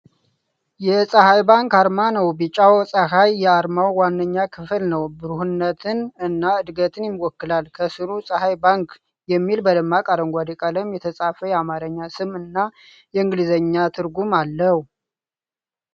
የፀሐይ ባንክ አርማ ነው። ቢጫው ፀሐይ የአርማው ዋነኛ ክፍል ነው። ብሩህነትን እና ዕድገትን ይወክላል ። ከሥሩ “ፀሐይ ባንክ” የሚል በደማቅ አረንጓዴ ቀለም የተጻፈ የአማርኛ ስም እና የእንግሊዝኛ ትርጉም አለው ።